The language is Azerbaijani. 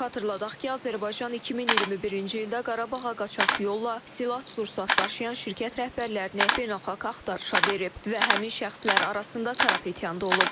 Xatırladaq ki, Azərbaycan 2021-ci ildə Qarabağa qaçaq yolla silah-sursat daşıyan şirkət rəhbərlərini beynəlxalq axtarışa verib və həmin şəxslər arasında Karapetyan da olub.